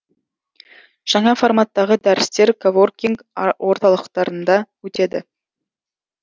жаңа форматтағы дәрістер коворкинг орталықтарында өтеді